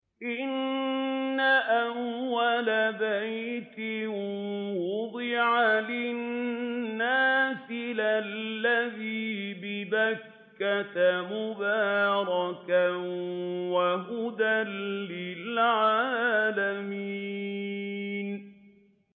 إِنَّ أَوَّلَ بَيْتٍ وُضِعَ لِلنَّاسِ لَلَّذِي بِبَكَّةَ مُبَارَكًا وَهُدًى لِّلْعَالَمِينَ